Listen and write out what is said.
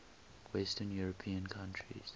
western european countries